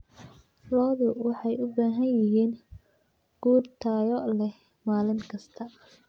Lo'du waxay u baahan yihiin quud tayo leh maalin kasta.